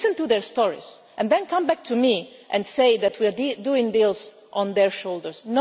Listen to their stories and then come back to me and say that we are doing deals on their shoulders.